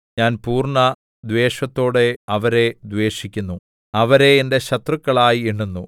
ഞാൻ പൂർണ്ണദ്വേഷത്തോടെ അവരെ ദ്വേഷിക്കുന്നു അവരെ എന്റെ ശത്രുക്കളായി എണ്ണുന്നു